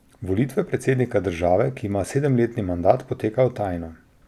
Volitve predsednika države, ki ima sedemletni mandat, potekajo tajno.